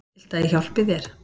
Viltu að ég hjálpi þér?